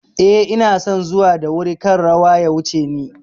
Eh, inason zuwa da wuri kar rawa ya wuce ni